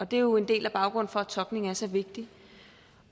det er jo en del af baggrunden for at tolkning er så vigtigt